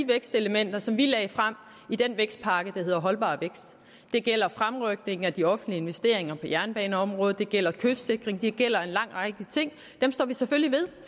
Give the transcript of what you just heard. vækstelementer som vi lagde frem i den vækstpakke der hed holdbar vækst det gælder fremrykning af de offentlige investeringer på jernbaneområdet det gælder kystsikring det gælder en lang række ting dem står vi selvfølgelig ved